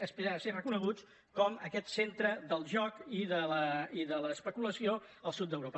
aspirar a ser reconeguts com aquest centre del joc i de l’espe·culació al sud d’europa